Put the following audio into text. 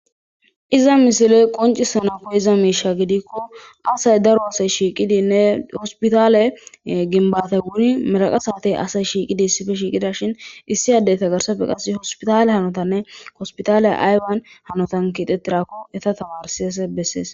Iza misile qoncisanako iza miisha gidikko asay daro asay shiiqidinne hospitale ginbate wuri meraqa saatey asay shiiqidi sife shiiqida shin issi addey tagarsafe qas hospitale hanotanne kospitale aywan hanotan kiixettirakko eta tawarsese bessees.